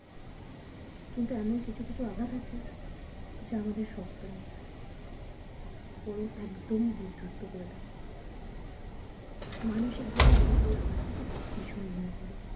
কিন্তু এমন কিছু কিছু আঘাত আছে যা আমাদের শক্ত নোই বরং একদম বিধস্ত করে দেয় মানসিক ভাবে আমরা সেই আঘাত থেকে ভীষণ ভেঙে পড়ি